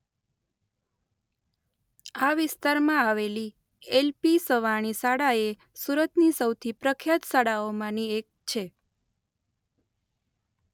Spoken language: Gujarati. આ વિસ્તારમા આવેલી એલ.પી.સવાણી શાળા એ સુરતની સૌથી પ્રખ્યાત શાળાઓમા ની એક છે.